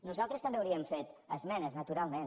nosaltres també hauríem fet esmenes naturalment